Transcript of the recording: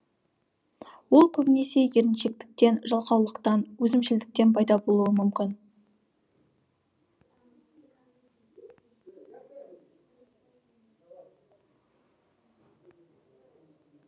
ол көбінесе еріншектіктен жалқаулықтан өзімшілдіктен пайда болуы мүмкін